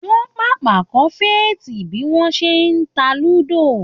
Wọ́n pàpà kọ́ Faith bí wọ́n ṣe ń ta ludo.